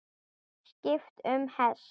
Skipt um hest.